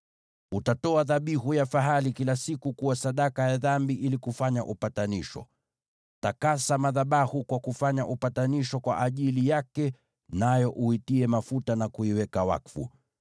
Utatoa dhabihu ya fahali kila siku kuwa sadaka ya dhambi ili kufanya upatanisho. Takasa madhabahu kwa kufanya upatanisho kwa ajili yake, nayo uitie mafuta na kuiweka wakfu.